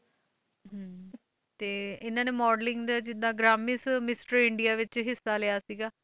ਹਮ ਤੇ ਇਹਨਾਂ ਨੇ modeling ਦੇ ਜਿੱਦਾਂ ਗਰਾਮਿਸ mister ਇੰਡੀਆ ਵਿੱਚ ਹਿੱਸਾ ਲਿਆ ਸੀਗਾ,